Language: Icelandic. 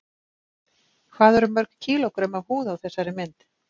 Hvað eru mörg kílógrömm af húð á þessari mynd?